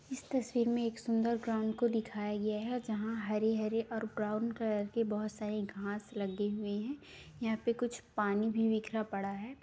इस तस्वीर में एक सुंदर ग्राउंड को दिखाया गया है जहाँ हरे-हरे और ब्राउन कलर के बहोत सारे घांस लगे हुए हैं। यहाँ पे कुछ पानी भी बिखरा पड़ा है।